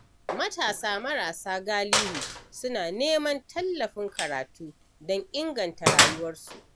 Matasa marasa galihu suna neman tallafin karatu don inganta rayuwarsu.